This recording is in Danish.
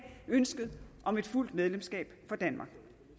ønsket om et fuldt medlemskab for danmark